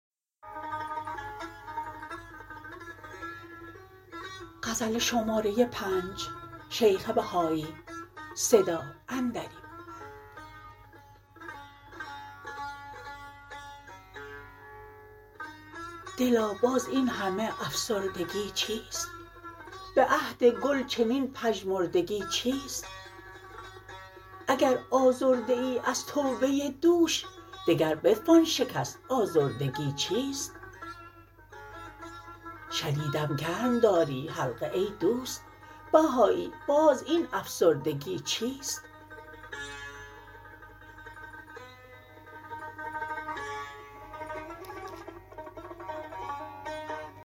دلا باز این همه افسردگی چیست به عهد گل چنین پژمردگی چیست اگر آزرده ای از توبه دوش دگر بتوان شکست آزردگی چیست شنیدم گرم داری حلقه ای دوست بهایی باز این افسردگی چیست